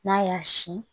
N'a y'a sin